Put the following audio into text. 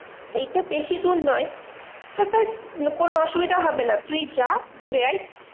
এইটা বেশিদূর নয় কোনো অসুবিধা হবে না তুই যা ঘুরে আয়।